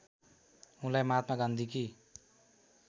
उनलाई महात्मा गान्धीकी